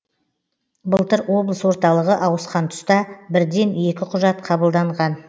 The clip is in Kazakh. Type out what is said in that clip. былтыр облыс орталығы ауысқан тұста бірден екі құжат қабылданған